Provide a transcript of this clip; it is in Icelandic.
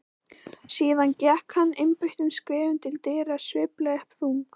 Síðan gekk hann einbeittum skrefum til dyra, sveiflaði upp þung